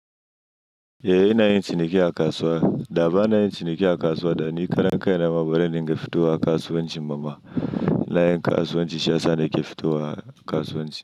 Eh ina yin ciniki a kasuwa. Da bana yin ciniki a kasuwa da ni karen kaina mama bazan dinga fitowa kasuwanci bama. Ina yin kasuwanci shi yasa nake fitowa kasuwanci.